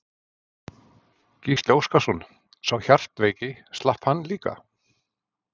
Gísli Óskarsson: Sá hjartveiki, slapp hann líka?